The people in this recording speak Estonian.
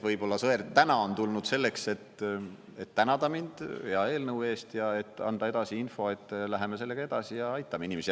Võib-olla Sõerd täna on tulnud selleks, et et tänada mind hea eelnõu eest ja anda edasi info, et läheme sellega edasi ja aitame inimesi.